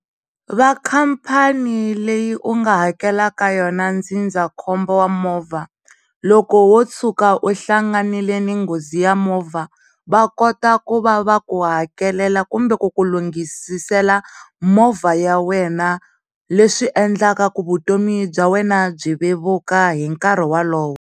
Vakhampani leyi u nga hakela ka yona ndzindzakhombo wa movha loko wo tshuka u hlanganile ni nghozi ya movha wa koto ku va va ku hakelela kumbe ku ku lunghisisela movha ya wena leswi endlaka ku vutomi bya wena byi vevuka hinkarhi wa lowo.